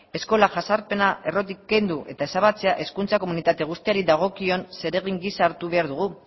eskola jazarpena errotik kendu eta ezabatzea hezkuntza komunitate guztiari dagokion zeregin gisa hartu behar dugu